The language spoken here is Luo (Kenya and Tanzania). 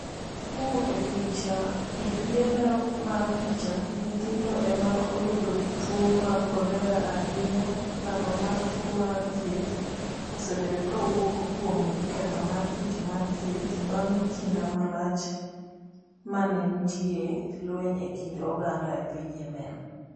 kowuok e picha, EPA Lero mar picha, Nyithindo e ma oyudo tuwo mar kolera ahinya Lando mar tuo mar thieth, osebedo ka wuok kuom ketho mar tich mar thieth, bang’ kinde malach ma ne nitie lweny e kind oganda e piny Yemen.